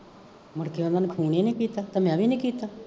ਮੁੜਕੇ ਓਹਨਾਂ ਨੇ ਫੋਨ ਈ ਨੀ ਕੀਤਾ, ਤੇ ਮੈਂ ਵੀ ਨੀ ਕੀਤਾ